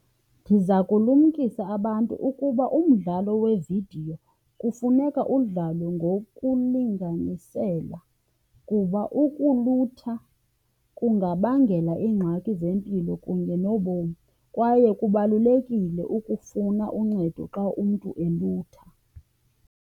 Ndiza kulumkisa abantu ukuba umdlalo wevidiyo kufuneka udlalwe ngokulinganisela kuba ukulutha kungabangela iingxaki zempilo kunye nobomi. Kwaye kubalulekile ukufuna uncedo xa umntu elutha.